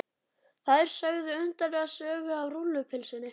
Þær sögðu undarlega sögu af rúllupylsunni.